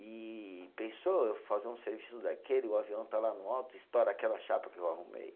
E pensou, eu fazer um serviço daquele, o avião está lá no alto, estoura aquela chapa que eu arrumei.